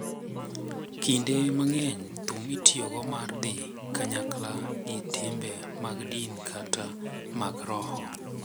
Kinde mang’eny, thum itiyogo mar dhi kanyakla gi timbe mag din kata mag roho,